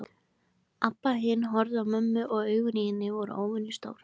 Abba hin horfði á mömmu og augun í henni voru óvenjulega stór.